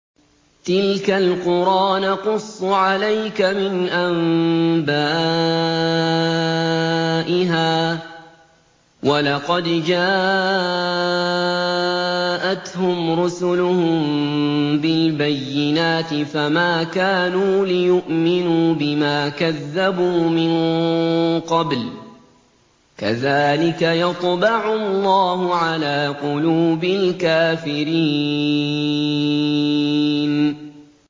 تِلْكَ الْقُرَىٰ نَقُصُّ عَلَيْكَ مِنْ أَنبَائِهَا ۚ وَلَقَدْ جَاءَتْهُمْ رُسُلُهُم بِالْبَيِّنَاتِ فَمَا كَانُوا لِيُؤْمِنُوا بِمَا كَذَّبُوا مِن قَبْلُ ۚ كَذَٰلِكَ يَطْبَعُ اللَّهُ عَلَىٰ قُلُوبِ الْكَافِرِينَ